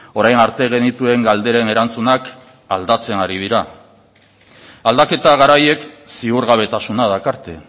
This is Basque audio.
orain arte genituen galderen erantzunak aldatzen ari dira aldaketa garaiek ziurgabetasuna dakarte